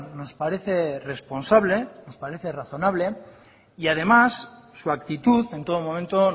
nos parece responsable nos parece razonable y además su actitud en todo momento